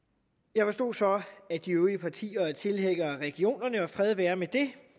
jeg forstod så at de øvrige partier er tilhængere af regionerne og fred være med det